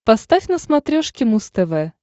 поставь на смотрешке муз тв